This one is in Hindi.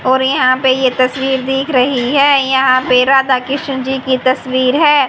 और यहां पे ये तस्वीर दिख रही हैं यहां पे राधा कृष्ण जी की तस्वीर हैं।